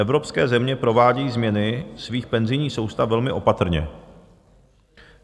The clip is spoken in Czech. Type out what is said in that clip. Evropské země provádějí změny svých penzijních soustav velmi opatrně.